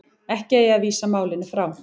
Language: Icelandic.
Ekki eigi að vísa málinu frá